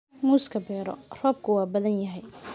Muuska beero, roobku waa badan yahay.